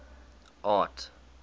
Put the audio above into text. art